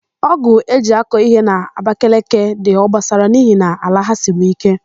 Ọ́gụ̀ e ji akọ íhé n'Abakeleke dị obosara n'ihi na ala ha siri íké.